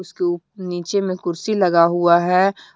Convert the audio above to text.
इसके उप नीचे में कुर्सी लगा हुआ है।